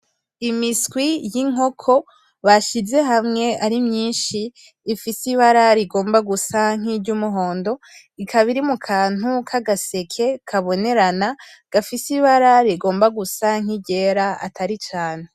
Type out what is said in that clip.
Imiswi y'inkoko bashize hamwe ari myinshi, ifise ibara rigomba gusa n'iryumuhondo , ikaba iri mukantu k'agaseke kabonerana , gafise ibara rigomba gusa nk'iryera atari cane.